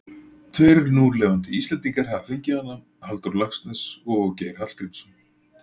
Tveir núlifandi Íslendingar hafa fengið hana, Halldór Laxness og Geir Hallgrímsson.